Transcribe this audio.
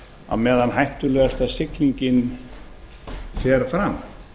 á meðan hættulegasta siglingin fer fram